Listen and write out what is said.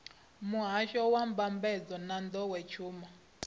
muhasho wa mbambadzo na nḓowetshumo